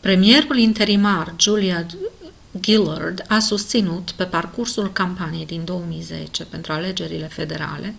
premierul interimar julia gillard a susținut pe parcursul campaniei din 2010 pentru alegerile federale